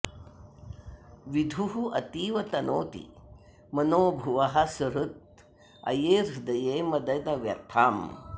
विधुः अतीव तनोति मनोभुवः सुहृत् अये हृदये मदन व्यथाम्